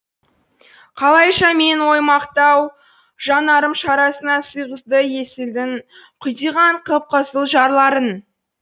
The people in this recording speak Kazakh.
қалайша менің оймақтау жанарым шарасына сыйғызды есілдің құдиған қып қызыл жарларын